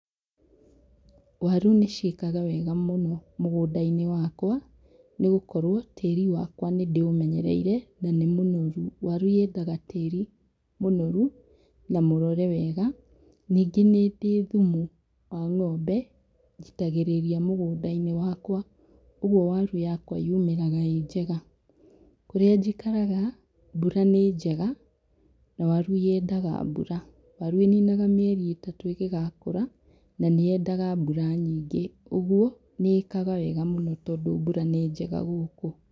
Waru nĩ ciĩkaga wega mũno mũgũnda-inĩ wakwa, nĩgũkorwo tĩri wakwa nĩndĩũmenyereire na nĩ mũnoru. Waru yendaga tĩri mũnoru, na mũrore wega. Ningĩ nĩndĩ thumu wa ng'ombe njitagĩrĩria mũgũnda-inĩ wakwa ũguo waru yakwa yumagĩra ĩ njega. Kũrĩa njikaraga, mbura nĩ njega na waru yendaga mbura. Waru ĩninaga mĩeri itatũ ĩgĩgakũra, na nĩ yendaga mbura nyingĩ, ũguo nĩ ĩkaga wega mũno tondũ mbura nĩ njega gũkũ.